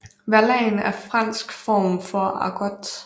Verlan er en fransk form for argot